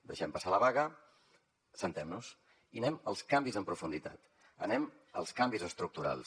deixem passar la vaga asseguemnos i anem als canvis en profunditat anem als canvis estructurals